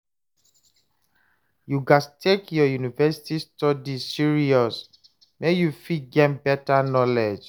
You gats take your university study serious make you fit gain beta knowledge